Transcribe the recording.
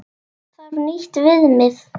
Þarf nýtt viðmið?